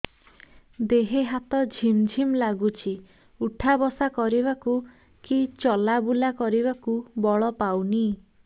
ଦେହେ ହାତ ଝିମ୍ ଝିମ୍ ଲାଗୁଚି ଉଠା ବସା କରିବାକୁ କି ଚଲା ବୁଲା କରିବାକୁ ବଳ ପାଉନି